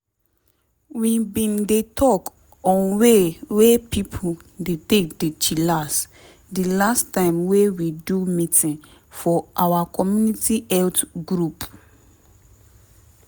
we bin dey talk on way wey pipo dey take dey chillax di last time wey we do meeting for our community health group.